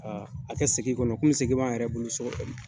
a kɛ segin kɔnɔ kɔmi segin b'an yɛrɛ bolo so kɔnɔ.